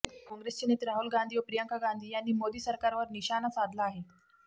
काँग्रेसचे नेते राहुल गांधी व प्रियांका गांधी यांनी मोदी सरकारवर निशाणा साधला आहे